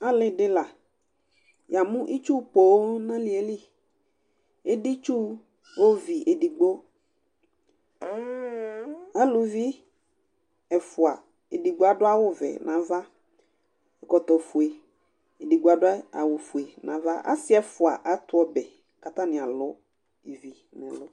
Ali dɩ la Yamʋ itsu poo nʋ ali ye li editsu ovi edigbo Aluvi ɛfʋa: edigbo adʋ awʋvɛ nʋ ava kʋ akɔ ɛkɔtɔfue, edigbo ta adʋ awʋfue nʋ ava Asɩ ɛfʋa atʋ ɔbɛ kʋ atanɩ alʋ ivi nʋ ɛlʋ